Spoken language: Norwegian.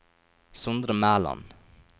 Sondre Mæland